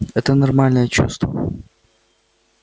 это нормальное чувство